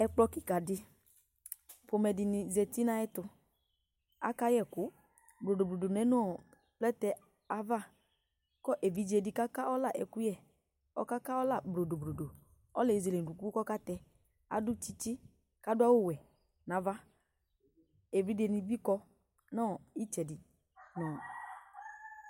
ɛkplɔ kika di ƒomɛ dini zati nu ayiʋ ɛtu Aka yɛɛ ɛku blodoblodo lɛnu blɛtɛ yɛ ayiʋ avaku ividze di kaka ɔla ɛkuyɛɔka ka ɔla blodoblodo ɔla yɛ ezele unuku ku ɔkatɛadu tsitsi ku adu awu wɛ nu ava evidze nibi kɔ nu itsɛdi